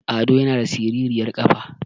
Ado yana da siriryar ƙafa